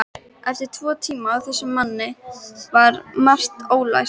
Eftir tvo tíma hjá þessum manni var margt ólært.